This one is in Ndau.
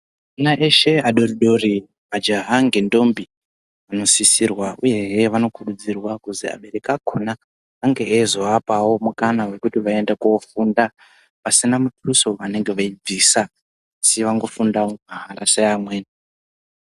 Ana eshe adoridori majaha ngedhombi vanosisirwa uyehe vanokurudzirwa kuzi abereki akona ange eizoapawo mukana wekuti vaende kofunda pasina muduso waanobvisa ,kuti andofundawo mahala seamweni.